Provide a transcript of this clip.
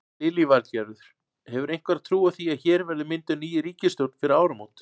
Lillý Valgerður: Hefurðu einhverja trú á því að hér verði mynduð ný ríkisstjórn fyrir áramót?